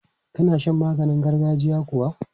Ka na shan maganin gargajiya kuwa?